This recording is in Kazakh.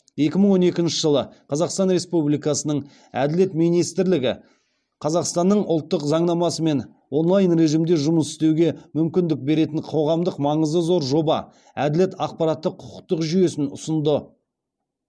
екі мың он екінші жылы қазақстан республикасының әділет министрлігі қазақстанның ұлттық заңнамасымен онлайн режімде жұмыс істеуге мүмкіндік беретін қоғамдық маңызы зор жоба әділет ақпараттық құқықтық жүйесін ұсынды